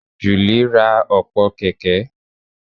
Julie ra ọ̀pọ̀ kẹ̀kẹ́